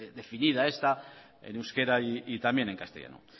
definida esta en euskera y también en castellano